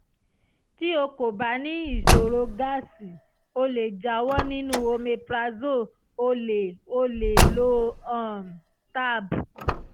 tí o kò bá ní ìṣòro gásì o lè jáwọ́ nínú omeprazole o lè o lè lo um tab